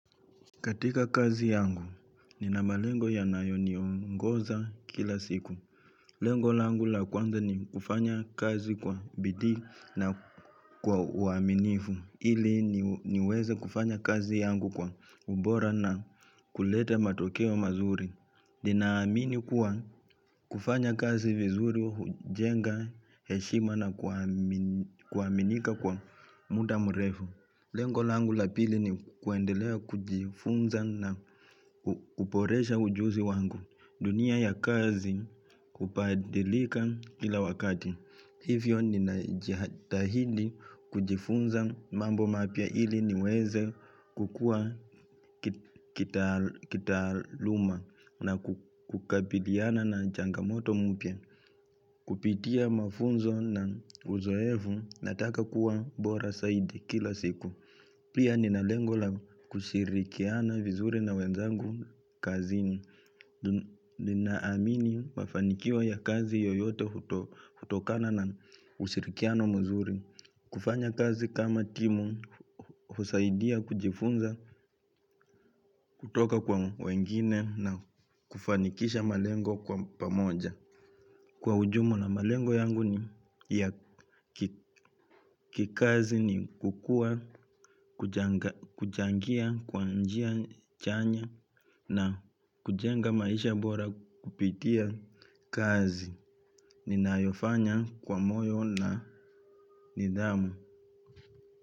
Katika kazi yangu, nina malengo yanayoniongoza kila siku. Lengo langu la kwanza ni kufanya kazi kwa bidii na kwa uaminifu. Ili niweze kufanya kazi yangu kwa ubora na kuleta matokeo mazuri. Ninaamini kuwa kufanya kazi vizuri, hujenga, heshima na kuaminika kwa muda mrefu. Lengo langu la pili ni kuendelea kujifunza na kuporesha ujuzi wangu dunia ya kazi kupadilika kila wakati. Hivyo ninajitahidi kujifunza mambo mapya ili niweze kukua kitaaluma na kukabiliana na changamoto mpya. Kupitia mafunzo na uzoevu nataka kuwa bora saidi kila siku. Pia nina lengo la kushirikiana vizuri na wenzangu kazini. Ninaamini mafanikio ya kazi yoyote hutokana na ushirikiano mzuri. Kufanya kazi kama timu husaidia kujifunza kutoka kwa wengine na kufanikisha malengo kwa pamoja. Kwa ujumla na malengo yangu ni kikazi ni kukua, kuchangia, kwa njia chanya na kujenga maisha bora kupitia kazi. Ninayofanya kwa moyo na nidhamu.